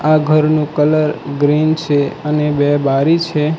આ ઘરનું colour green છે અને બે બારી છે.